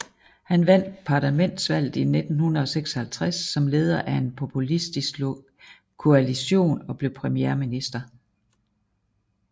Han vandt parlamentsvalget i 1956 som leder af en populistisk koalition og blev premierminister